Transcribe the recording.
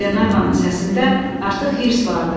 Qlenarvanın səsində artıq hirs vardı.